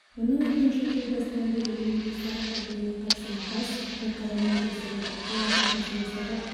оның айтуынша жыл басынан бері өңірде сарып ауруына қарсы бас ірі-қара мал тексерілді олардың арасында сарып